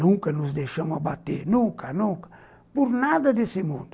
Nunca nos deixamos abater, nunca, nunca, por nada desse mundo.